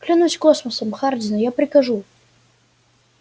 клянусь космосом хардин я прикажу